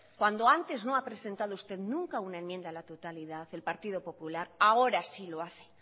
cuando antes no ha presentado usted nunca una enmienda a la totalidad el partido popular ahora sí lo hace